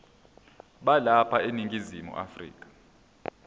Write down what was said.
balapha eningizimu afrika